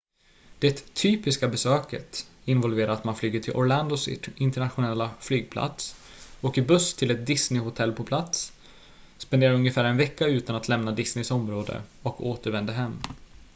"det "typiska" besöket involverar att man flyger till orlandos internationella flygplats åker buss till ett disneyhotell på plats spenderar ungefär en vecka utan att lämna disneys område och återvänder hem.